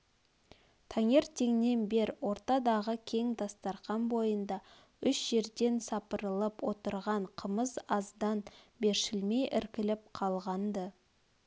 таңертеңнен бер ортадағы кең дастарқан бойында үш жерден сапырылып отырған қымыз аздан бершілмей іркіліп қалған-ды